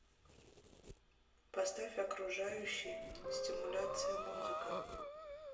поставь окружающий стимуляция музыка